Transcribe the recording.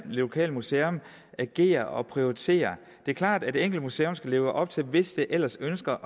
lokale museum agerer og prioriterer det er klart at det enkelte museum skal leve op til søjler hvis det ellers ønsker